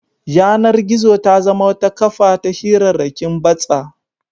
Yanar-gizo ta zama wata kafa ta hirarrakin batsa.